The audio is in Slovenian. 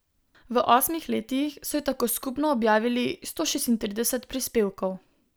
V osmih letih so ji tako skupno objavili sto šestintrideset prispevkov.